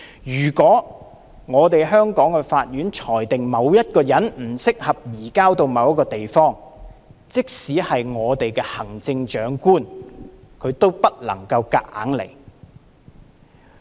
如果香港法院裁定某人不適合移交到某一個地方，即使行政長官也不能夠勉強行事。